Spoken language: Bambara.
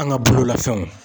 An ka bololafɛnw.